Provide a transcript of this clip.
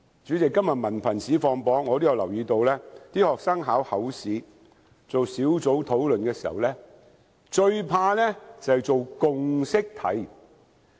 主席，今天文憑試放榜，我也留意到學生考口試做小組討論時，最怕便是做共識題。